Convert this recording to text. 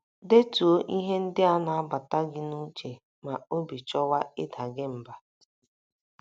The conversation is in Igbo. Detuo ihe ndị na - agbata gị n’uche ma obi chọwa ịda gị mbà.